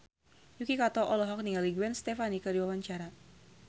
Yuki Kato olohok ningali Gwen Stefani keur diwawancara